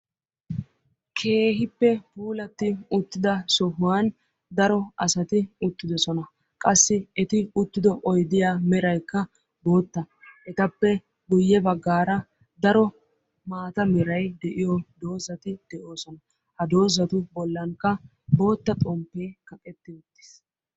keehippe puulatti uttida sohuwan daro asati eqqidosona. Qassi eti uttido oyddiya meraykka bootta. Etappe guye baggaara daro maata meray de'iyo dozzati de'oososna. Ha dozzatu bolankka bootta xompee kaqetti uttis.